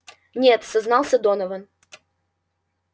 нет сознался донован